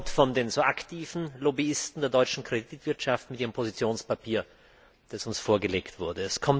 Er kommt von den so aktiven Lobbyisten der deutschen Kreditwirtschaft mit ihrem Positionspapier, das uns vorgelegt wurde.